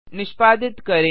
निष्पादित करें